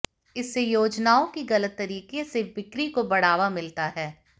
इससे योजनाओं की गलत तरीके से बिक्री को बढ़ावा मिलता है